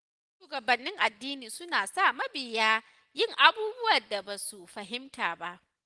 Wasu shugabannin addini suna sa mabiya yin abubuwan da ba su fahimta ba.